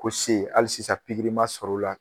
Ko se hali sisan ma sɔrɔla o la.